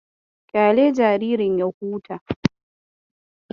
Kyale jaririn ya huta.